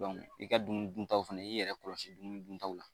i ka dumuni duntaw fana i y'i yɛrɛ kɔlɔsi dumuni duntaw la.